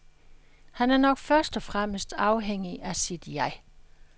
Han er nok først og fremmest afhængig af sit jeg.